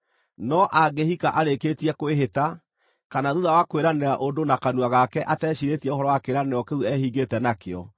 “No angĩhika arĩkĩtie kwĩhĩta, kana thuutha wa kwĩranĩra ũndũ na kanua gake ateciirĩtie ũhoro wa kĩĩranĩro kĩu ehingĩte nakĩo,